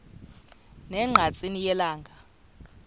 ne ngqatsini yelanga